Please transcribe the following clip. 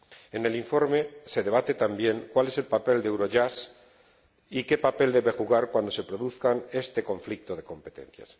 En el informe se debate también cuál es el papel de Eurojust y qué papel debe jugar cuando se produzca este conflicto de competencias.